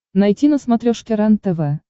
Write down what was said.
найти на смотрешке рентв